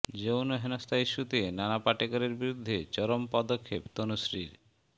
যৌন হেনস্থা ইস্যুতে নানা পাটেকরের বিরুদ্ধে চরম পদক্ষেপ তনুশ্রীর